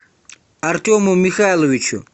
артему михайловичу